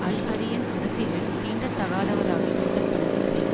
Al-Arian அரசியலில் தீண்டத்தகாதவராக கருதப்படவில்லை